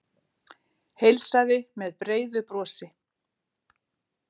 Heilsaði með breiðu brosi.